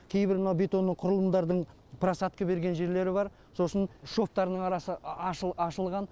кейбір мынау бетонның құрылымдардың просатка берген жерлері бар сосын шовтарының арасы ашылған